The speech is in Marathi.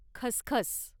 खसखस